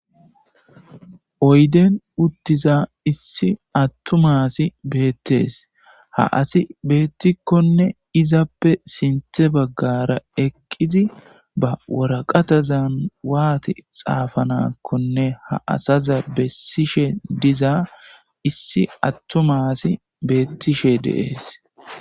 Oyiddenni utizza issi atuma asi betees.haa asi bettikkonne izappe sinththe bagara eqidi baa waraqatazanni wati xaafanakkonne haa asazza besishshe diza issi atuma asi betishshe de'es.